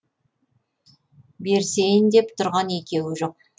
берісейін деп тұрған екеуі жоқ